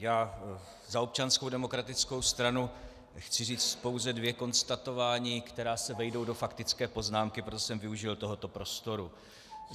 Já za Občanskou demokratickou stranu chci říci pouze dvě konstatování, která se vejdou do faktické poznámky, proto jsem využil tohoto prostoru.